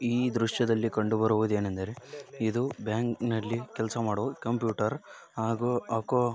ಈ ದೃಶ್ಯದಲ್ಲಿ ಕಂಡು ಬರುವುದು ಏನೆಂದರೆ ಇದು ಬ್ಯಾಂಕ್‌ ನಲ್ಲಿ ಕೆಲಸ ಮಾಡುವ ಕಂಪ್ಯೂಟರ್‌ ಹಾಗೂ ಅಕೌಂಟ್ಸ್ .